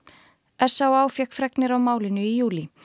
s á á fékk fregnir af málinu í júlí